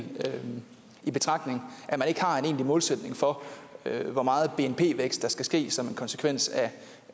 taget i betragtning at man ikke har en egentlig målsætning for hvor meget bnp vækst der skal ske som en konsekvens af